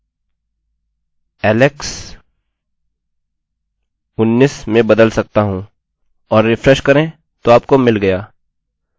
अतः फंक्शन्सfunctions समय बचाने के लिए लिखे जाते हैं यह कोडcode के बड़े ब्लाक्स को लेता है यह एक इनपुटinput ले सकता है यह इसको इस प्रकार संसाधित करता है कि दूसरे प्रकार से बहुत अधिक समय लेता होगा